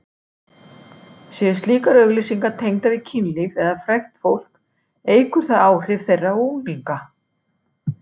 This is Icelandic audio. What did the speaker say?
Séu slíkar auglýsingar tengdar við kynlíf eða frægt fólk eykur það áhrif þeirra á unglinga.